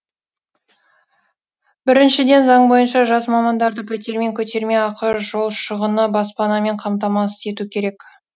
біріншіден заң бойынша жас мамандарды пәтермен көтерме ақы жол шығыны баспанамен қамтамасыз ету керек